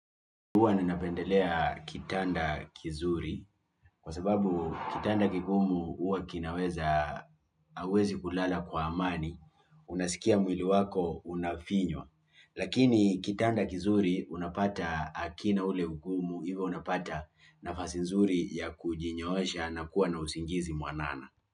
Hwa ninapendelea kitanda kizuri, kwa sababu kitanda kigumuhuwa kinaweza, hauwezi kulala kwa amani, unasikia mwili wako, unafinywa, lakini kitanda kizuri unapata hakina ule ugumu, hivyo unapata nafasi nzuri ya kujinyoosha na kuwa na usingizi mwanana.